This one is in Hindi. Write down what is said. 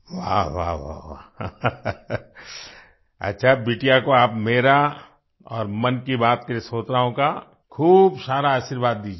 वाह वाह अच्छा बिटिया को आप मेरा और मन की बात के श्रोताओं का खूब सारा आशीर्वाद दीजिये